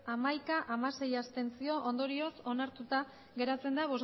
hamaika abstentzioak hamasei ondorioz onartuta geratzen da